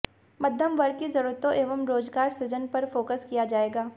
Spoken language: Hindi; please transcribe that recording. मध्यम वर्ग की जरूरतों एवं रोजगार सृजन पर फोकस किया जाएगा